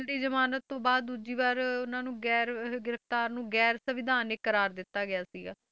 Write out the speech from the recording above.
ਦੀ ਜ਼ਮਾਨਤ ਤੋਂ ਬਾਅਦ ਦੂਜੀ ਵਾਰ ਉਹਨਾਂ ਨੂੰ ਗੈਰ ਅਹ ਗ੍ਰਿਫ਼ਤਾਰ ਨੂੰ ਗੈਰ ਸਵਿਧਾਨਕ ਕਰਾਰ ਦਿੱਤਾ ਗਿਆ ਸੀਗਾ,